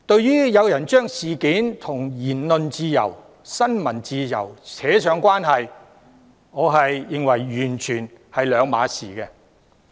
有人將這宗事件與言論自由、新聞自由拉上關係，我認為兩者完全不同。